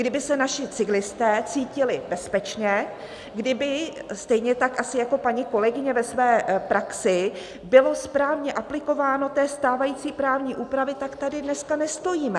Kdyby se naši cyklisté cítili bezpečně, kdyby stejně tak asi jako paní kolegyně ve své praxi bylo správně aplikováno té stávající právní úpravy, tak tady dneska nestojíme.